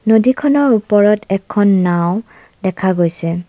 নদীখনৰ ওপৰত এখন নাওঁ দেখা গৈছে।